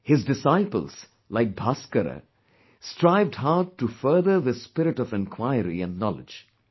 His disciples like Bhaskara, strived hard to further this spirit of inquiry and knowledge